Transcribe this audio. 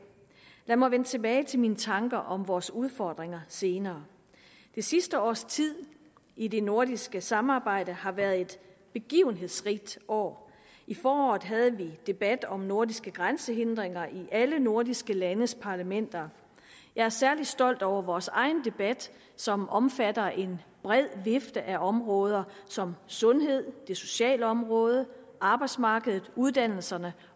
lad mig vende tilbage til mine tanker om vores udfordringer senere det sidste års tid i det nordiske samarbejde har været et begivenhedsrigt år i foråret havde vi debat om nordiske grænsehindringer i alle nordiske landes parlamenter jeg er særlig stolt over vores egen debat som omfatter en bred vifte af områder som sundhed det sociale område arbejdsmarkedet uddannelserne